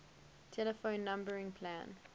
telephone numbering plan